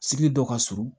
Sigi dɔ ka surun